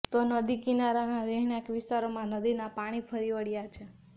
તો નદી કિનારાના રહેણાંક વિસ્તારોમાં નદીના પાણી ફરી વળ્યા છે